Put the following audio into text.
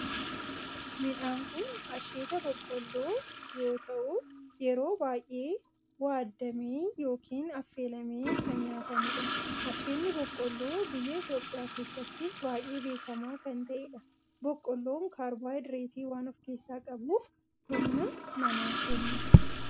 Midhaan kun asheeta boqqoolloo yoo ta'u yeroo baayyee waaddamee yookin affeelamee kan nyaatamudha. Asheenni boqqoolloo biyya Itiyoophiyaa keessatti baayyee beekamaa kan ta'edha. Boqqoolloon kaarboohayidireetii waan of keessaa qabuf humna namaa kenna.